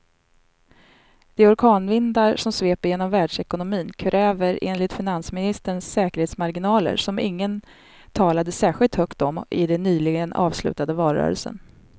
De orkanvindar som sveper genom världsekonomin kräver enligt finansministern säkerhetsmarginaler som ingen talade särskilt högt om i den nyligen avslutade valrörelsen.